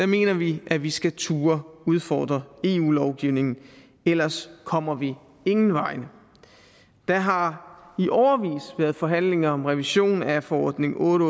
mener vi at vi skal turde udfordre eu lovgivningen ellers kommer vi ingen vegne der har i årevis været forhandlinger om revision af forordning otte